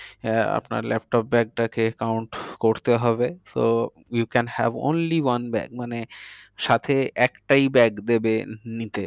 আহ আপনার laptop bag টাকে count করতে হবে। so you can have only one bag মানে সাথে একটাই bag দেবে নিতে।